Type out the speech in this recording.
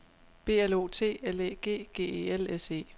B L O T L Æ G G E L S E